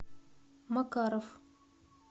макаров